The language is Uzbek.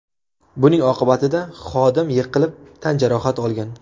Buning oqibatida xodim yiqilib tan jarohati olgan.